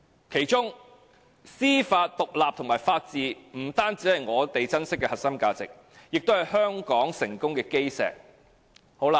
其中，司法獨立及法治不單是我們珍惜的核心價值，也是香港成功的基石。